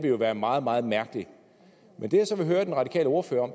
jo være meget meget mærkeligt det jeg så vil høre den radikale ordfører